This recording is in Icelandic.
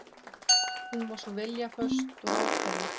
Hún svona viljaföst og ákveðin.